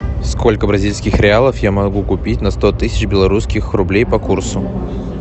сколько бразильских реалов я могу купить на сто тысяч белорусских рублей по курсу